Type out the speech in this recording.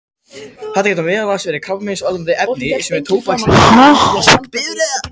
Þetta geta meðal annars verið krabbameinsvaldandi efni, svo sem tóbaksreykur eða útblástur bifreiða.